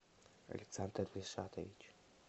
александр ришатович